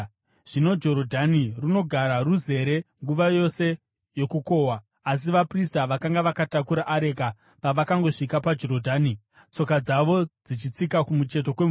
Zvino Jorodhani runogara ruzere nguva yose yokukohwa. Asi vaprista vakanga vakatakura areka pavakangosvika paJorodhani tsoka dzavo dzichitsika kumucheto kwemvura,